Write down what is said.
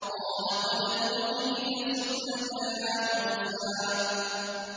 قَالَ قَدْ أُوتِيتَ سُؤْلَكَ يَا مُوسَىٰ